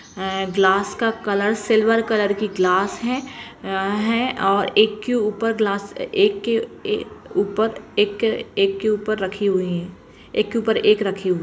है ग्लास का colour silver colour कि ग्लास है या- है और एक के ऊपर ग्लास एक-के -ए-ए ऊपर एक के ऊपर रखी हुई है एक के ऊपर एक रखी हुई।